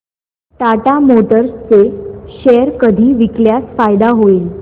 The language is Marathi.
टाटा मोटर्स चे शेअर कधी विकल्यास फायदा होईल